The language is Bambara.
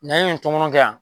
N'an ye nin tɔmɔnɔ kɛ yan